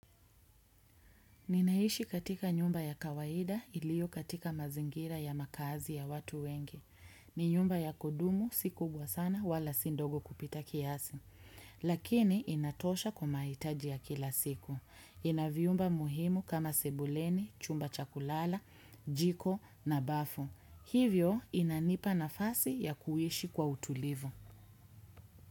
Ninaishi katika nyumba ya kawaida ilio katika mazingira ya makazi ya watu wengi. Ni nyumba ya kudumu si kubwa sana wala sindogo kupita kiasi. Lakini inatosha kwa maitaji ya kila siku. Ina vyumba muhimu kama sebuleni, chumba cha kulala, jiko na bafu. Hivyo inanipa nafasi ya kuishi kwa utulivu.